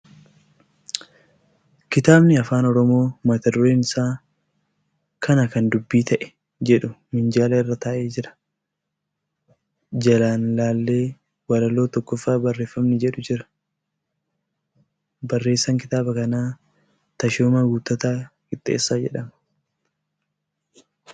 Kitaabni afaan Oromoo mata dureen isaa ' Kana kan Dubbii Ta'e ' jedhu minjaala irra taa'ee jira. Jalaan laallee waloo 1ffaa barreeffamni jedhu jira. Barreessaan kitaaba kanaa Tashoomaa Guuttataa Qixxeessaa jedhama.